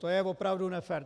To je opravdu nefér.